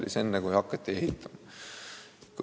Alles seejärel olnuks loogiline hakata ehitama.